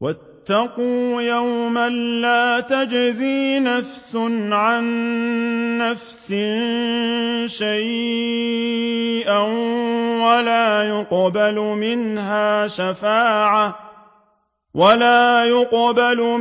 وَاتَّقُوا يَوْمًا لَّا تَجْزِي نَفْسٌ عَن نَّفْسٍ شَيْئًا وَلَا يُقْبَلُ